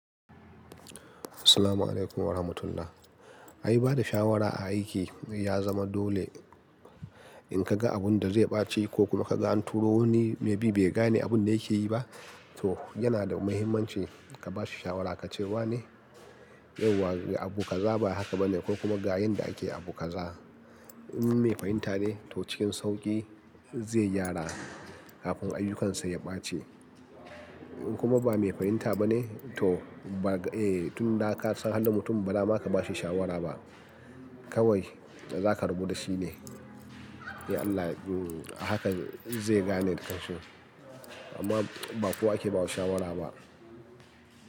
Salamu alaykum warahmatullah. Ai ba da shawara a aiki ya zama dole. In ka ga abun da zai ɓaci ko kuma ka ga anturo wani maybe bai gane abun da yake yi ba, to yana da mahimmanci ka ba shi shawara ka ce wa ne yauwa abu kaza ba haka ba ne, ko kuma ga yanda ake abu kaza. In me fahinta ne to cikin sauƙi zai gyara kafin ayyukansa ya ɓace. In kuma ba me fahinta ba ne to ba g, eh tun da ka san halin mutum ba da ma ka ba shi shawara ba. Kawai da za ka rabu da shi ne, ya Allah a haka zai gane dakan shi. Amma ba kowa ake ba wa shawara ba.